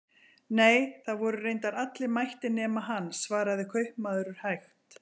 Nei, það voru reyndar allir mættir nema hann, svaraði kaupmaður hægt.